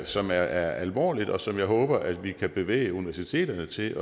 som er alvorligt og som jeg håber at vi kan bevæge universiteterne til